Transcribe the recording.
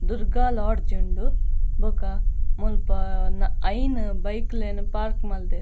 Durga lodge ಉಂಡು ಬೊಕ ಮುಲ್ಪ ನ ಐನ್ ಬೈಕ್ ಲೆನ್ ಪಾರ್ಕ್ ಮಲ್ದೆರ್.